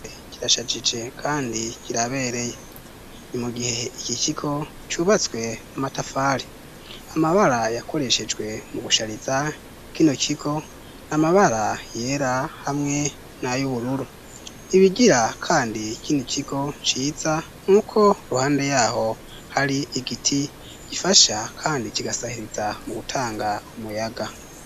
Kirashakije kandi kirabereye. Ni mu gihe iki kigo cubatswe n'amatafari. Amabara yakoreshejwe mu gushariza kino kigo ni amabara yera hamwe nay'ubururu. Ibigira kandi kino kigo ciza ni uko iruhande y'aho hari igiti gifasha kandi kigasahiriza mu gutanga umuyaga.